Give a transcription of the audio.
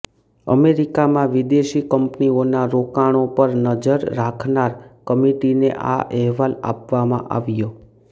અમેરિકામાં વિદેશી કંપનીઓનાં રોકાણો પર નજર રાખનાર કમિટીને આ અહેવાલ આપવામાં આવ્યો